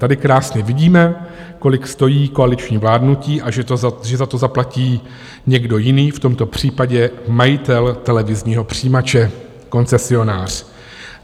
Tady krásně vidíme, kolik stojí koaliční vládnutí a že za to zaplatí někdo jiný, v tomto případě majitel televizního přijímače, koncesionář.